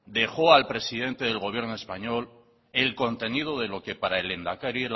dejó al presidente del gobierno español el contenido de lo que para el lehendakari